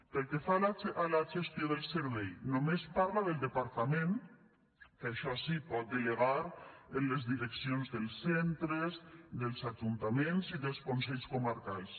pel que fa a la gestió del servei només parla del departament que això sí pot delegar en les direccions dels centres dels ajuntaments i dels consells comarcals